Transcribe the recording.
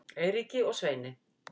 Eiríki og Sveini